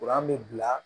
bɛ bila